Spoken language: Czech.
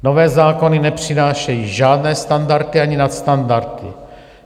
Nové zákony nepřinášejí žádné standardy ani nadstandardy.